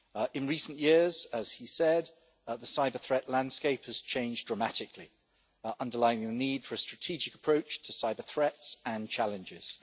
In recent years, as he said, the cyber-threat landscape has changed dramatically, underlining the need for a strategic approach to cyber-threats and challenges.